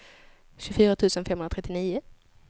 tjugofyra tusen femhundratrettionio